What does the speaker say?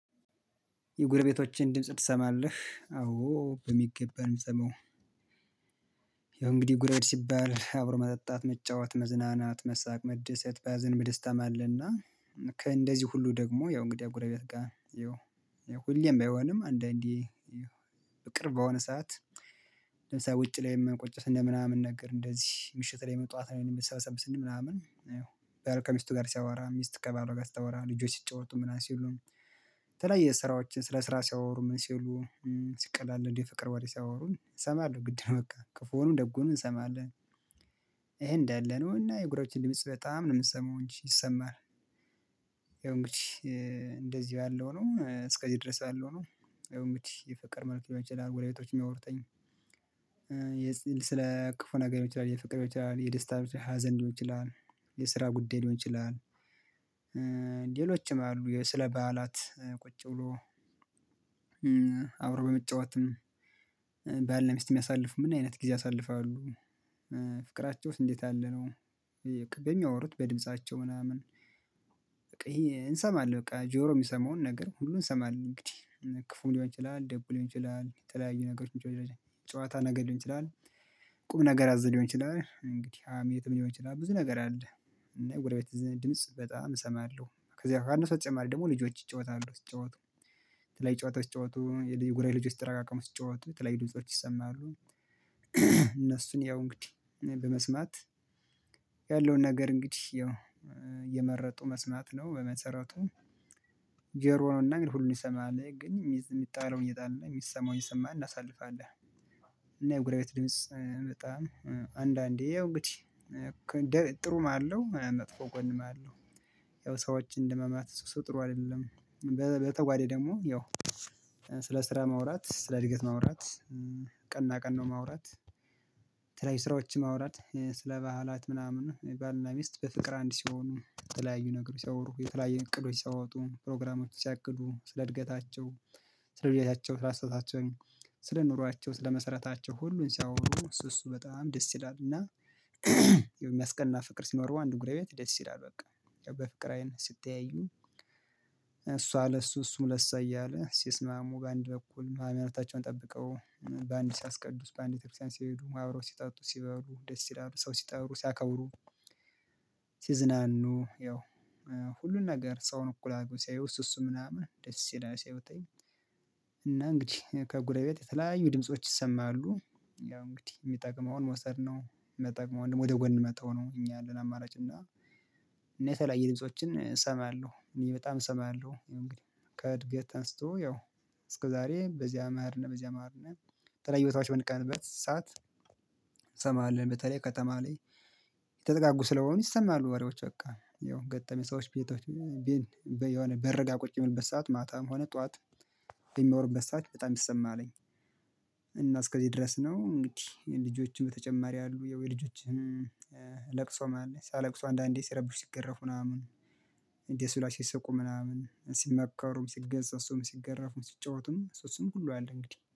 የጉረቤቶችን ድምጽ ትሰማለህ? አዎ በሚገባ ነው ሰማው ያው እንግዲህ ጉረቤት ሲባል አብሮ መጠጣት መጫወት መዝናናት መሳቅ መደሰት በያዘን በደስታም አለና። ከእንደዚህ ሁሉ ደግሞ ያው እንግዲህ የጉረቤት ጋር ይኸው ሁሌም ባይሆንም አንዳንዴ ይኸው በቅርብ በሆነ ሰዓት ለምሳሌ ውጭ ላይ የምንቆጭበት እንደ ምናምን ነገር እንደዚህ ምሽት ላይ ጧት ላይም ሰብሰብ ስንል ምናምን ይኸው ባል ከሚስቱ ጋር ሲያወራ ሚስት ከባለዋ ጋር ሲታያወራ ልጆች ሲጫወቱ ምናምን ሲሉም። ተለያየ ስራዎችን ስለ ስራ ሲያወሩ ምን ሲያወሩ ሲቀላለዱ እንዴ ፍቅር ወሬ ሲያወሩን እሰማለሁ ግድ ነው በቃ ክፉንም ደጉንም እንሰማለን። ይሄ እንዳለ ነው እና የጎረበቶችን ድምጽ በጣም ነው የሚሰማው እንጂ ይሰማል። ያው እንግዲህ እንደዚህ ያለው ነው እስከዚህ ድረስ ያለው ነው ያው እንግዲህ እንግዲህ የፍቅር ጉዳይ ሊሆን ይችላል። ሌሎችም አሉ ስለ በዓላት ቁጭ ብሎ አብሮ በመጫወትም ባል እና ሚስት የሚያሳልፉ ምንአይነት ጊዜ ያሳልፋሉ? ፍቅራቸውስ እንዴት ያለ ነው? በሚያወሩት በድምፃቸው ምናምን ይሄ እንሰማለን በቃ ጆሮ የሚሰማውን ነገር ሁሉ እንሰማለን እንግዲህ ክፉ ሊሆን ይችላል ደጉ ሊሆን ይችላል የተለያዩ ነገሮችን። ጨዋታ ነገር ሊሆን ይችላል። ቁም ነገር አዝ ሊሆን ይችላል እንግዲህ ሀሜንትም ሊሆን ይችላል ብዙ ነገር አለ። እና የጎረቤት ድምጽ በጣም እሰማለሁ። ከዛ ከእነሱ በተጨማሪ ደግሞ ልጆች ይጫወታሉ ሲጫወቱ የተለያዩ ጨዋታዎች ስጨዋታዎች የጎረቤት ልጆች ተረቃቅሞ ሲጫወቱ የተለያዩ ድምጾች ይሰማሉ። እነሱን ያው እንግዲህ በመስማት ያለውን ነገር እንግዲህ ያው የመረጡ መስማት ነው በመሰረቱ። ጄሮ ነው እና እንግዲህ ሁሉንም ይሰማሃል ግን የሚጣለው እየጣለን የሚሰማውን እየሰማን እናሳልፋለን። እና የጉራቤት ድምጽ በጣም አንዳንዴ እንግዲህ ጥሩም አለው መጥፎ ጎንም አለው። ያው ሰዎችን እንደማማት እሱ ጥሩ አይደለም። በተጓዴ ደግሞ ያው ስለ ስራ ማውራት ስለ እድገት ማውራት ቀና ቀነውን ማውራት ስለተለያዩ ስራዎችን ማውራት ስለ ባህላት ምናምን ባልና ሚስት በፍቅር አንድ ሲሆኑ የተለያዩ ነገሮች ሲያወሩ የተለያዩ እቅዶች ሲያወጡ ፕሮግራሞች ሲያቅዱ ስለ እድገታቸው። ስለ ብያታቸው ስለ አስተያየታቸው። ስለ ኑሯቸው ስለ መሰረታቸው ሁሉን ሲያወጡ እሱ እሱ በጣም ደስ ይላል እና። የሚያስቀና ፍቅር ሲኖር አንድ እግሬ ቤት ደስ ይላል። በቃ በፍቅር አይን ሲትያዩ። እሷ ለሱ እሱም ለሱ እያለ ሲስማሙ በአንድ በኩል ማህመሮታቸውን ጠብቀው በአንድ ሲያስቀዱስ በአንድ ትርፍ ሲሄዱ አብረው ሲጠጡ ሲበሩ ደስ ይላሉ ሰው ሲጠሩ ሲያከቡሩ። ሲዝናኑ ያው ሁሉን ነገር ሰውን እኩል አጉን ሲያዩ እሱ እሱ ምናምን ደስ ይላሉ ሲያዩት። እና እንግዲህ ከጉረቤት የተለያዩ ድምጾች ይሰማሉ ያው እንግዲህ የሚጠቅመውን መውሰድ የማይጠቅመውን ደግሞ ወደ ጎን መተው ነው። እኛ ያለን አማራጭ እና። እኔ የተለያየ ድምፆችን እሰማለሁ እኔ በጣም እሰማለሁ እንግዲህ። ከእድገት አንስቶ ያው እስከዛሬ በዚህ አማርነህ በዚህ አማርነት ተለያይ ቦታዎች ብንቀመጥበት ሰዓት። እንሰማለን በተለይ ከተማ ላይ። የተጠጋጉ ስለሆኑ ይሰማሉ ወሬዎች በቃ ያው ገጠመ ሰዎች ቤቶች የሆነ በርጋ ቁጭ በሚልበት ሰዓት ማታም ሆነ ጠዋት ሚያሩበት ሰዓት በጣም ነው የሚሰማልኝ። እና እስከዚህ ድረስ ነው እንግዲህ ልጆችን በተጨማሪ ያሉ የወይ ልጆችን። ለቅሶም አለ ስያለቅሱ አንዳንዴ ሲረብሹ ሲገረፉ ምናምን። ደስ ስሏቸው ሲሰቁ ምናምን ሲመከሩም ሲገጸጹም ሲገረፉም ሲጫወቱም ሶስቱም ሁሉ አለ እንግዲህ